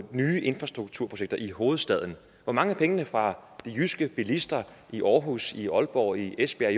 nye infrastrukturprojekter i hovedstaden hvor mange af pengene fra de jyske bilister i aarhus i aalborg i esbjerg